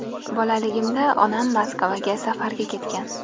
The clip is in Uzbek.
Bolaligimda onam Moskvaga safarga ketgan.